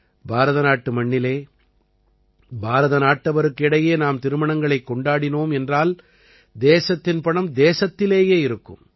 பாரதநாட்டு மண்ணில் பாரத நாட்டவருக்கு இடையே நாம் திருமணங்களைக் கொண்டாடினோம் என்றால் தேசத்தின் பணம் தேசத்திலேயே இருக்கும்